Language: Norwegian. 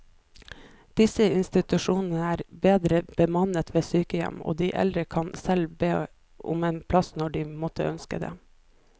Disse institusjonene er bedre bemannet enn sykehjem, og de eldre kan selv be om en plass når de måtte ønske det.